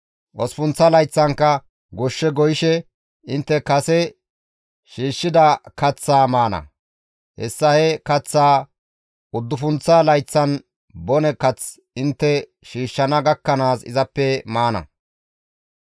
Osppunththa layththankka goshshe goyishe intte kase shiishshida kaththaa maana; hessa he kaththaa uddufunththa layththan bone kath intte shiishshana gakkanaas izappe maana.